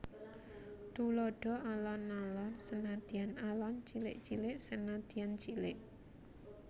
Tuladha Alon alon senadyan alon cilik cilik senadyan cilik